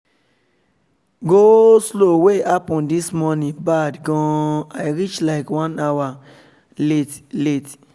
go-slow wey happen this morning bad gan i reach like one hour late late